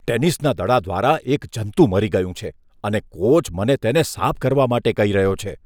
ટેનિસના દડા દ્વારા એક જંતુ મરી ગયું છે, અને કોચ મને તેને સાફ કરવા માટે કહી રહ્યો છે.